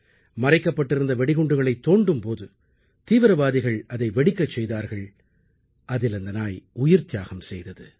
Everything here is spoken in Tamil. மறைக்கப்பட்டிருந்த வெடிகுண்டுகளைத் தோண்டும் போது தீவிரவாதிகள் அதை வெடிக்கச் செய்தார்கள் அதில் அந்த நாய் உயிர்த்தியாகம் செய்தது